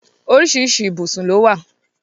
Oríṣiríṣi ibùsùn lówà.